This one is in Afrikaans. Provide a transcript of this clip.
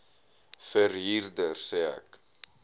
verhuurder sê ek